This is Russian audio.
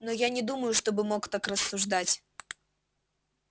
но я не думаю чтобы мог так рассуждать